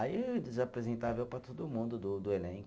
Aí eles apresentavam eu para todo mundo do do elenco.